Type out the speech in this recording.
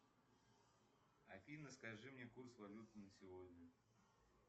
афина скажи мне курс валюты на сегодня